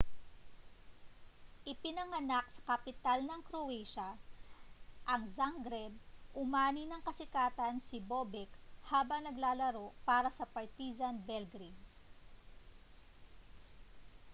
ipinanganak sa kapital ng croatia ang zagreb umani ng kasikatan si bobek habang naglalaro para sa partizan belgrade